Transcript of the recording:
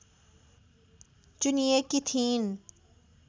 चुनिएकी थिइन्